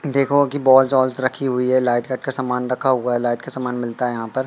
देखो की बॉल्स ऑल्स रखी हुई है लाइट कट का सामान रखा हुआ है लाइट का सामान मिलता है यहां पर।